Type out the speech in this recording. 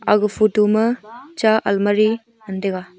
aga photo ma cha almari ngan taiga.